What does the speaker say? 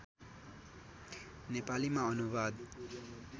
नेपालीमा अनुवाद